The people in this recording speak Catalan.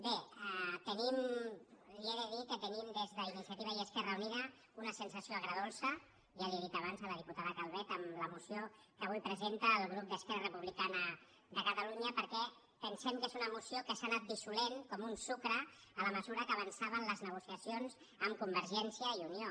bé li he de dir que tenim des d’iniciativa i esquerra unida una sensació agredolça ja li ho he dit abans a la diputada calvet amb la moció que avui presenta el grup d’esquerra republicana de catalunya perquè pensem que és una moció que s’ha anat dissolent com un sucre a mesura que avançaven les negociacions amb convergència i unió